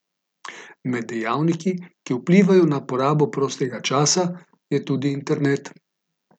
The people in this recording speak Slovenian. Med dejavniki, ki vplivajo na porabo prostega časa, je tudi internet.